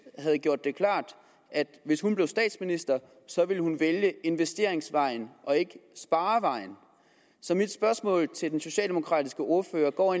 havde gjort det klart at hvis hun blev statsminister ville hun vælge investeringsvejen og ikke sparevejen så mit spørgsmål til den socialdemokratiske ordfører går